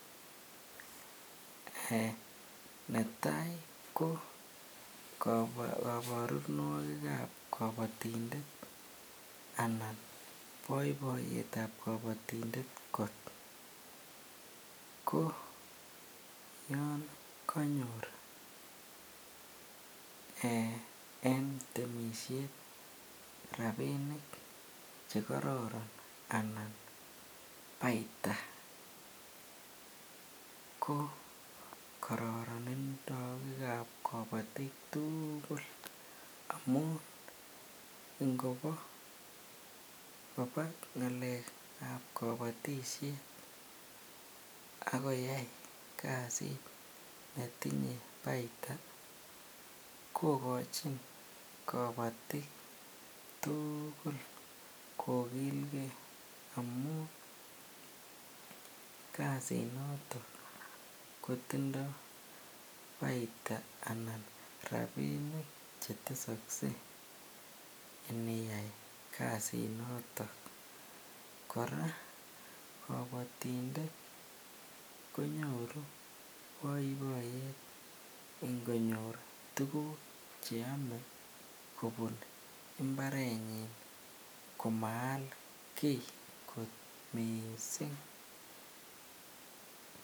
Eeh netai ko koborunoikab kobotindet anan boiboiyetab kobotindet ko yoon konyor en temishet rabinik chekororon anan ko baita ko kororonindab kobotik tukul amun ingoba ngalekab kobotisheb ak koyai kasit netinye baita kokochin kobotik tukul kokilke amun kasinoton kotindo baita anan rabinik chetesokse iniyai kasinoton, kora kobotindet konyoru boiboiyet ngonyor tukuk che omee kobun imbarenyin komaal kii kot mising.